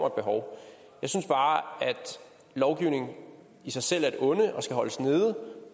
et behov jeg synes bare at lovgivning i sig selv er et onde og skal holdes nede